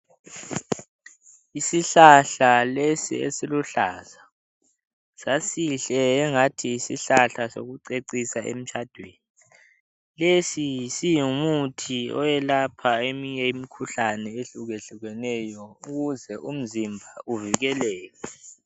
Isihlahla lesi esiluhlaza sasihle angathi yisihlahla sokucecisa emtshadweni. Lesi singumuthi owelapha eminye imikhuhlane ehlukahlukeneyo ukuze umzimba uvikeleke.